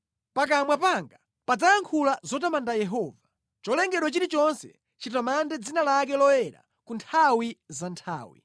Pakamwa panga padzayankhula zotamanda Yehova. Cholengedwa chilichonse chitamande dzina lake loyera ku nthawi za nthawi.